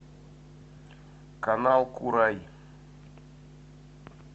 канал курай